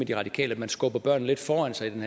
de radikale lidt skubber børnene foran sig i den